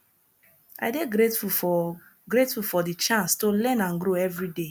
i dey grateful for grateful for di chance to learn and grow every day